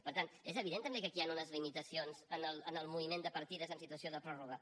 per tant és evident també que aquí hi han unes limitacions en el moviment de partides en situació de pròrroga